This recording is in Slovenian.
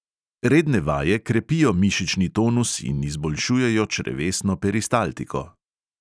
Redne vaje krepijo mišični tonus in izboljšujejo črevesno peristaltiko.